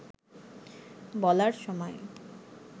বলার সময়